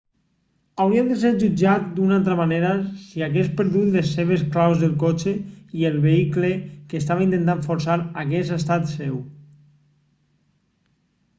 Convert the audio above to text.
hauria de ser jutjat d'una altra manera si hagués perdut les seves claus del cotxe i el vehicle que estava intentant forçar hagués estat seu